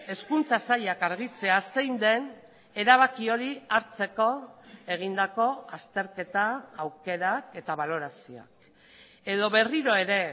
hezkuntza sailak argitzea zein den erabaki hori hartzeko egindako azterketa aukerak eta balorazioa edo berriro ere